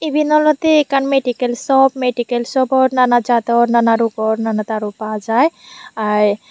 iben olwdey ekkan medical shop medical shopot nana jador nana rupor nana daru pa jai i.